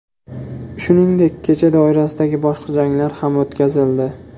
Shuningdek, kecha doirasidagi boshqa janglar ham o‘tkazildi.